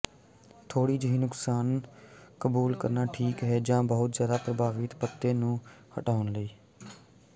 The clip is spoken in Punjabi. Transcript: ਥੋੜ੍ਹੀ ਜਿਹੀ ਨੁਕਸਾਨ ਕਬੂਲ ਕਰਨਾ ਠੀਕ ਹੈ ਜਾਂ ਬਹੁਤ ਜ਼ਿਆਦਾ ਪ੍ਰਭਾਵਿਤ ਪੱਤੇ ਨੂੰ ਹਟਾਉਣ ਲਈ